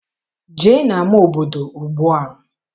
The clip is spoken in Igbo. Jee n'ama obodo ugbua!